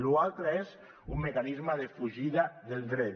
lo altre és un mecanisme de fugida del dret